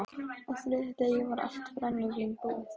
Á þriðja degi var allt brennivín búið.